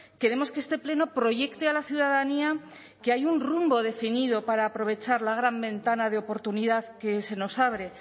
queremos que este pleno proyecte a la ciudadanía que hay un rumbo definido para aprovechar la gran ventana de oportunidad que se nos abre